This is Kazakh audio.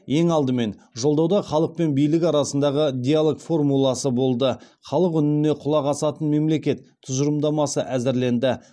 ең алдымен жолдауда халық пен билік арасындағы диалог формуласы болды халық үніне құлақ асатын мемлекет тұжырымдамасы әзірленді